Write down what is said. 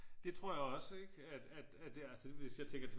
Det tror jeg også ikke at at hvis jeg tænker tilbage